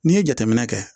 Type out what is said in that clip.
N'i ye jateminɛ kɛ